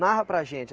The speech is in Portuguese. Narra para a gente.